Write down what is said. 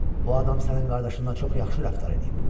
O adam sənin qardaşından çox yaxşı rəftar eləyib.